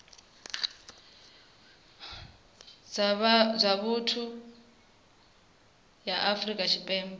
dza vhuthu ya afrika tshipembe